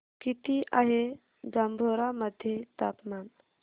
किती आहे जांभोरा मध्ये तापमान